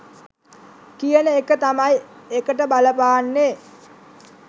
කියන එක තමයි ඒකට බලපාන්නෙ.